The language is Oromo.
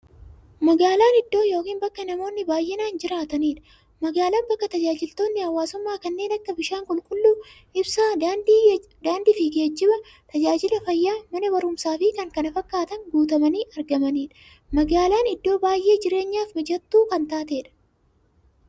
Magaalan iddoo yookiin bakka namoonni baay'inaan jiraatanidha. Magaalan bakka taajajilootni hawwaasummaa kanneen akka; bishaan qulqulluu, ibsaa, daandiifi geejjiba, taajajila fayyaa, Mana baruumsaafi kanneen kana fakkatan guutamanii argamanidha. Magaalan iddoo baay'ee jireenyaf mijattuu kan taatedha.